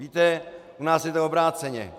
Víte, u nás je to obráceně.